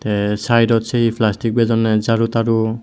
te sidot se he plastic bejonde jaru taru.